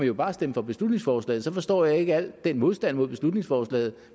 jo bare stemme for beslutningsforslaget så forstår jeg ikke al den modstand mod beslutningsforslaget